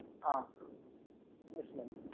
A, yes mam.